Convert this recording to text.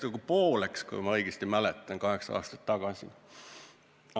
Riigikohus läks, kui ma õigesti mäletan, kaheksa aastat tagasi nagu pooleks.